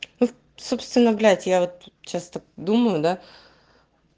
вот собственно блять я вот часто думаю да